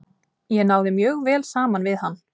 Ég náði mjög vel saman við hann.